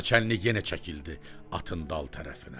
Naçalnik yenə çəkildi atın dal tərəfinə.